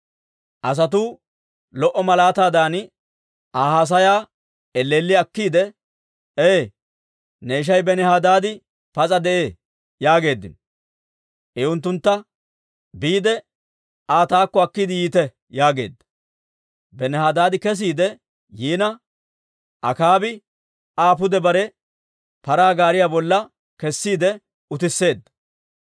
Asatuu lo"o malaataadan Aa haasayaa elleelli akkiide, «Ee, ne ishay Benihadaadi pas'a de'ee» yaageeddino. I unttuntta, «Biide Aa taakko akkiide yiite» yaageedda. Benihadaadi kesiide yiina, Akaabi Aa pude bare paraa gaariyaa bolla kessiide utisseedda.